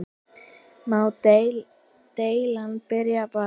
Má deildin byrja bara?